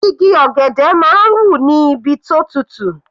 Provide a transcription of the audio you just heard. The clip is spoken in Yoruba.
Igi ọ̀gẹ̀dẹ̀ máa ń hù níbi tó tutù.